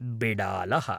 बिडालः